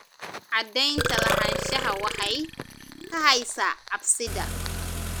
Cadaynta lahaanshaha waxay kaxaysaa cabsida.